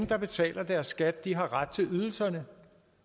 der betaler skat har ret til ydelserne